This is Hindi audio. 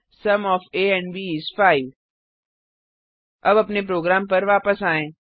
sum of a and b is 5 अब अपने प्रोग्राम पर वापस आएँ